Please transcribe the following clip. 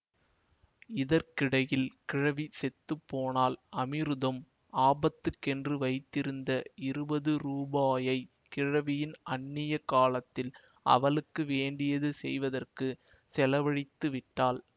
இதற்கிடையில் கிழவி செத்து போனாள் அமிருதம் ஆபத்துக்கென்று வைத்திருந்த இருபது ரூபாயை கிழவியின் அந்நிய காலத்தில் அவளுக்கு வேண்டியது செய்வதற்குச் செலவழித்து விட்டாள்